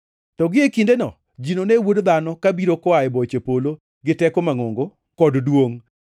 “To gie kindeno ji none Wuod Dhano kabiro koa e boche polo gi teko mangʼongo kod duongʼ.